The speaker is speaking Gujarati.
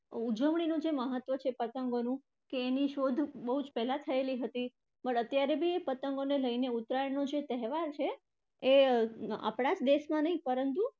ઉજવણીનું જે મહત્વ છે પતંગોનું કે એની શોધ બહુજ પહેલા થયેલી હતી પણ અત્યારે પણ એ પતંગોને લઈને ઉત્તરાયણનો જે તહેવાર છે અર આપણા જ દેશમાં નહિ પરંતુ